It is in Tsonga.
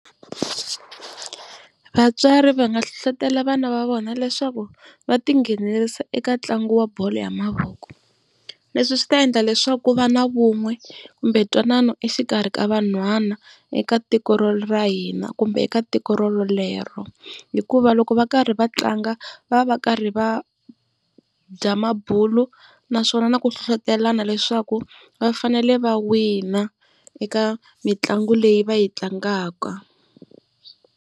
Vatswari va nga hlohlotelo vana va vona leswaku va tinghenelerisa eka ntlangu wa bolo ya mavoko. Leswi swi ta endla leswaku ku va na vun'we kumbe ntwanano exikarhi ka vanhwana eka tiko ra hina kumbe eka tiko rorolero. Hikuva loko va karhi va tlanga va va va karhi va dya mabulo naswona na ku hlohlotelana leswaku va fanele va wina eka mitlangu leyi va yi tlangaka.